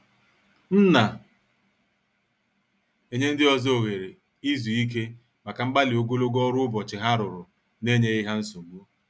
M na- enye ndị ọzọ oghere izu ike maka mgbali ogologo ọrụ ụbọchị ha rụrụ na- enyeghi ha nsogbu.